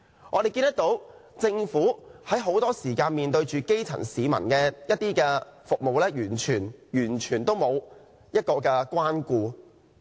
我們看到，很多時候政府對於基層市民所需的服務，完全沒有關顧。